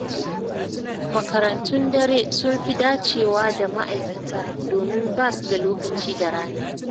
Makarantun dare sun fi dacewa da ma'aikata, domin ba su da lokaci da rana.